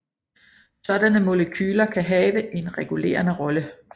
Sådanne molekyler kan have en regulerende rolle